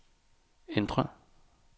ændr